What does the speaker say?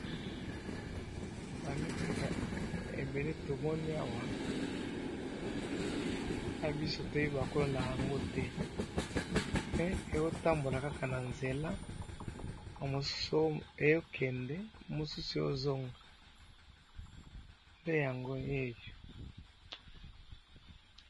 ndenge nazali komona awa eza mbisi, nayebi te soki nakoki ko benga yango mbisi to nyama, eza oyo na monoko ya mi ndele ba bengaka phoque, esi balongoli yango namayi batiye na se ndenge pe nazomona aza neti ya kokufa .